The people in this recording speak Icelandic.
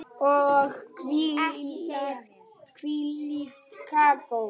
Og hvílíkt kakó.